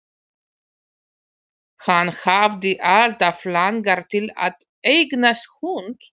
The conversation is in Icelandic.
Hann hafði alltaf langað til að eignast hund.